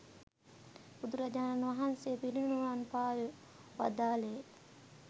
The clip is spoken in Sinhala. බුදුරජාණන් වහන්සේ පිරිනිවන් පා වදාළේ